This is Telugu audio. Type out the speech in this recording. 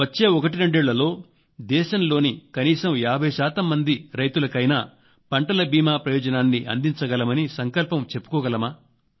వచ్చే ఒకటి రెండేళ్లలో దేశంలోని కనీసం 50 శాతం మంది రైతులకైనా పంటల బీమా ప్రయోజనాన్ని అందంచగలమని సంకల్పం చెప్పుకోగలమా